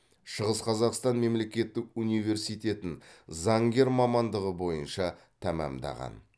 шығыс қазақстан мемлекеттік университетін заңгер мамандығы бойынша тәмамдаған